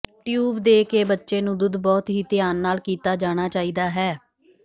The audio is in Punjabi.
ਟਿਊਬ ਦੇ ਕੇ ਬੱਚੇ ਨੂੰ ਦੁੱਧ ਬਹੁਤ ਹੀ ਧਿਆਨ ਨਾਲ ਕੀਤਾ ਜਾਣਾ ਚਾਹੀਦਾ ਹੈ